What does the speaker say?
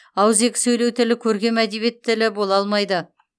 ауыз екі сөйлеу тілі көркем әдебиет тілі бола алмайды